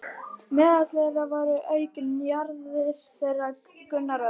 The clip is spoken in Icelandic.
Meðal þeirra voru auk Njarðar þeir Gunnar Örn